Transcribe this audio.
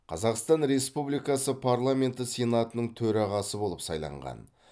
қазақстан республикасы парламенті сенатының төрағасы болып сайланған